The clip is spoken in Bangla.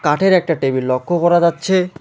কাঠের একটা টেবিল লক্ষ করা যাচ্ছে।